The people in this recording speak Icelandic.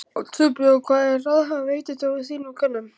Þorbjörn: Hvaða ráðgjöf veitir þú þínum kúnnum?